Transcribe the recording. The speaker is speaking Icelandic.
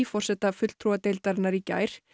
forseta fulltrúadeildarinnar í gær